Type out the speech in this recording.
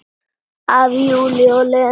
Af Júlíu og Lenu.